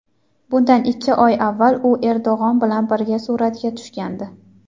Bundan ikki oy avval u Erdo‘g‘on bilan birga suratga tushgandi.